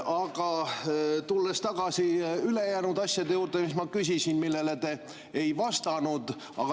Aga tulen tagasi ülejäänud asjade juurde, mida ma küsisin ja millele te ei vastanud.